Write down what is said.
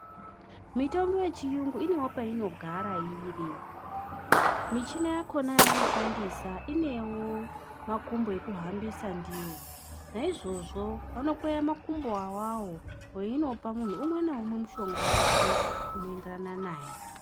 Mutombo yechiyungu inewo painogara iri. Michina yakona yavanoshandisa inewo makumbo ekuhambisa ndiwo naizvozvo vanokweya makumbo awawo veinopa munhu umwe ngaumwe mushonga wake unoenderana naye